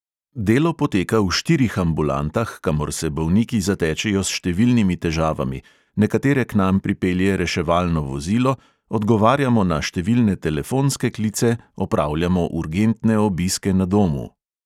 Delo poteka v štirih ambulantah, kamor se bolniki zatečejo s številnimi težavami, nekatere k nam pripelje reševalno vozilo, odgovarjamo na številne telefonske klice, opravljamo urgentne obiske na domu.